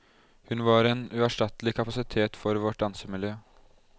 Hun var en uerstattelig kapasitet for vårt dansemiljø.